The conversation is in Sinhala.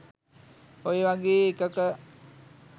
ඔය වගේ එකක